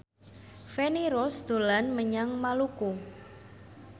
Feni Rose dolan menyang Maluku